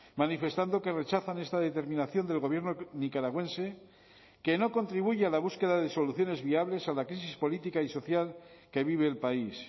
manifestando que rechazan esta determinación del gobierno nicaragüense que no contribuye a la búsqueda de soluciones viables a la crisis política y social que vive el país